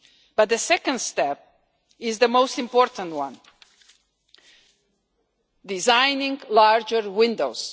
But the second step is the most important one designing larger windows.